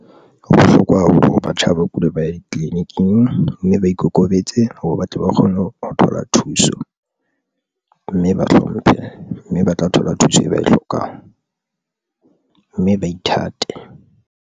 Ho bohlokwa haholo ho batjha ba kula, ba ye tleliniking mme ba ikokobetse hore batle ba kgone ho thola thuso mme ba hlomphe mme ba tla thola thuso e ba e hlokang mme ba ithate.